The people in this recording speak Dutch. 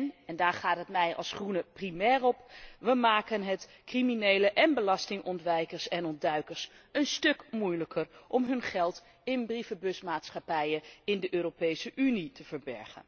En en daar gaat het mij als Groene primair om we maken het criminelen en belastingontwijkers en ontduikers een stuk moeilijker om hun geld in brievenbusmaatschappijen in de Europese Unie te verbergen.